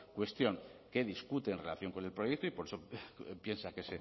cuestión que discute en relación con el proyecto y por eso piensa que